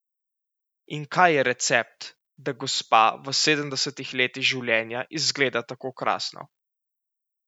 In kaj je recept, da gospa v sedemdesetih letih življenja izgleda tako krasno?